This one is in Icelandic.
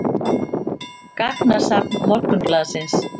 Gagnasafn Morgunblaðsins.